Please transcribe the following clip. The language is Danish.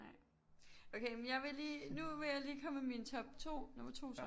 Nej okay men jeg vil lige nu vil jeg lige komme med min top 2 nummer 2 så